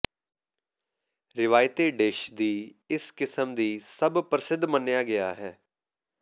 ਰਵਾਇਤੀ ਡਿਸ਼ ਦੀ ਇਸ ਕਿਸਮ ਦੀ ਸਭ ਪ੍ਰਸਿੱਧ ਮੰਨਿਆ ਗਿਆ ਹੈ